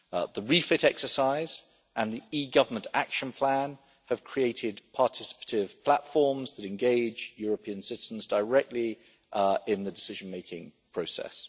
The REFIT exercise and the e Government Action Plan have created participatory platforms that engage European citizens directly in the decision making process.